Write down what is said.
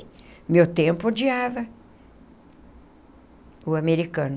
No meu tempo, odiava o americano.